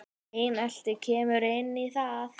Einelti kemur inn í það.